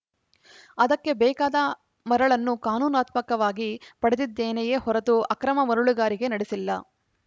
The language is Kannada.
ಅದಕ್ಕೆ ಬೇಕಾದ ಮರಳನ್ನು ಕಾನೂನಾತ್ಮಕವಾಗಿ ಪಡೆದಿದ್ದೇನೆಯೇ ಹೊರತು ಅಕ್ರಮ ಮರಳುಗಾರಿಕೆ ನಡೆಸಿಲ್ಲ